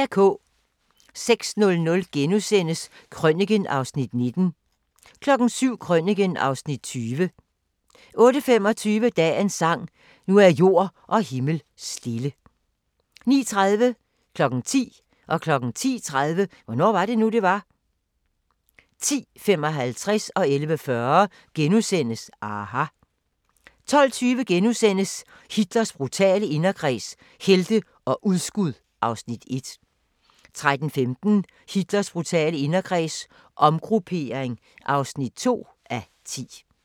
06:00: Krøniken (Afs. 19)* 07:00: Krøniken (Afs. 20) 08:25: Dagens sang: Nu er jord og himmel stille 09:30: Hvornår var det nu, det var? 10:00: Hvornår var det nu, det var? 10:30: Hvornår var det nu, det var? 10:55: aHA! * 11:40: aHA! * 12:20: Hitlers brutale inderkreds – helte og udskud (1:10)* 13:15: Hitlers brutale inderkreds – omgruppering (2:10)